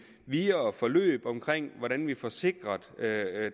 videre forløb omkring hvordan vi får sikret